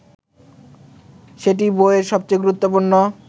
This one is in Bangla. সেটিই বইয়ের সবচেয়ে গুরুত্বপূর্ণ